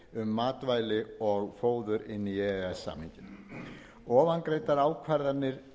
matvæli og fóður inn í e e s samninginn ofangreindar ákvarðanir